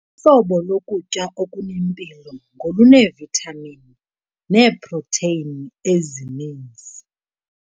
Uhlobo lokutya okunempilo ngoluneevithamini neeprotheyini ezininzi.